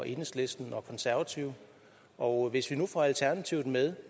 enhedslisten og konservative og hvis vi nu får alternativet med